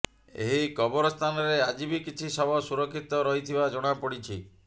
ଏହି କବରସ୍ଥାନରେ ଆଜି ବି କିଛି ଶବ ସୁରକ୍ଷିତ ରହିଥିବା ଜଣାପଡ଼ିଛି